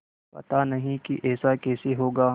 पता नहीं कि ऐसा कैसे होगा